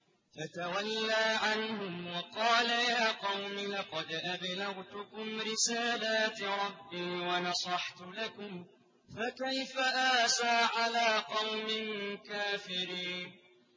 فَتَوَلَّىٰ عَنْهُمْ وَقَالَ يَا قَوْمِ لَقَدْ أَبْلَغْتُكُمْ رِسَالَاتِ رَبِّي وَنَصَحْتُ لَكُمْ ۖ فَكَيْفَ آسَىٰ عَلَىٰ قَوْمٍ كَافِرِينَ